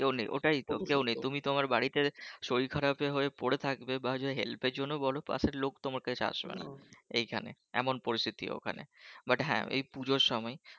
কেউ নেই ওটাই তো কেউ নেই তুমি তোমার বাড়িতে শরীর খারাপ হয়ে পড়ে থাকবে বা help র জন্য বলো পাশের লোক তোমার কাছে আসবেনা এইখানে এমন পরিস্থিতি ওখানে but হ্যাঁ এই পুজোর সময়